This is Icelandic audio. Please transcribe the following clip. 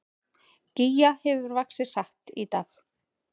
Gígja hefur vaxið hratt í dag